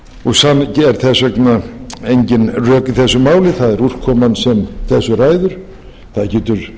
og þess vegna engin rök í þessu máli það er úrkoman sem þessu ræður það getur